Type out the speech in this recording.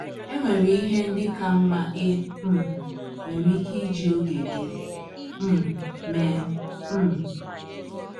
E nwere ihe ndị ka mma i um nwere ike iji oge gị um mee um.